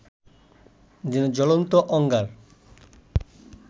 যেন জ্বলন্ত অঙ্গার